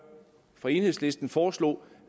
fra enhedslisten foreslog